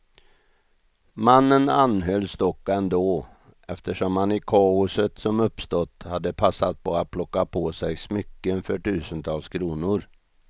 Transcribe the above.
Mannen anhölls dock ändå, eftersom han i kaoset som uppstått hade passat på att plocka på sig smycken för tusentals kronor.